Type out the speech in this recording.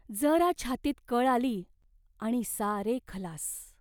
जरा छातीत कळ आली आणि सारे खलास.